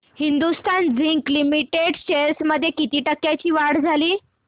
Hindustan zinc limited shares मध्ये किती टक्क्यांची वाढ झाली